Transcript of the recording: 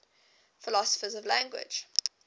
philosophers of language